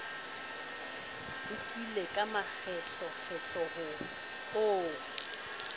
lekile ka makgetlokgetlo ho o